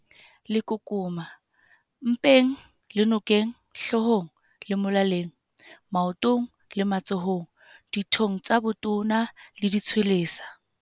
Lekukuma- Mpeng le nokeng, hloohong le molaleng, maotong le matsohong, dithong tsa botona le ditshwelesa.